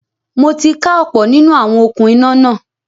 Mo ti ká ọ̀pọ̀ nínú àwọn “okún iná” náà.